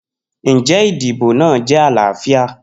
Njẹ idibo naa jẹ alaafia?